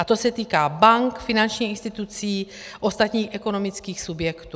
A to se týká bank, finančních institucí, ostatních ekonomických subjektů.